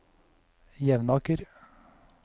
Jevnaker